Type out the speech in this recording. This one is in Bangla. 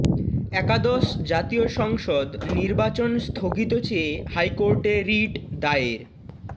একাদশ জাতীয় সংসদ নির্বাচন স্থগিত চেয়ে হাইকোর্টে রিট দায়ের